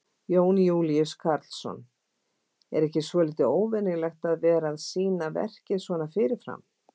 Jón Júlíus Karlsson: Er ekki svolítið óvenjulegt að vera að sýna verkið svona fyrirfram?